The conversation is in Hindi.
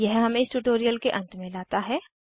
यह हमें इस ट्यूटोरियल के अंत में लाता है